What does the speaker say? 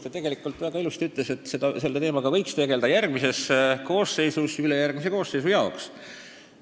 Ta ütles väga ilusasti, et selle teemaga võiks tegelda järgmine koosseis ülejärgmise koosseisu jaoks.